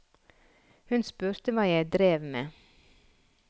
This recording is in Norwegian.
Hun spurte hva jeg drev med.